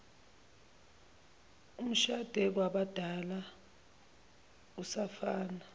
umshade kwabadala usafana